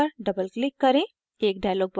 इस guideline पर double click करें